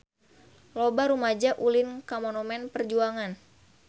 Loba rumaja ulin ka Monumen Perjuangan